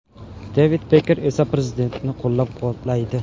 Devid Peker esa prezidentni qo‘llab-quvvatlaydi.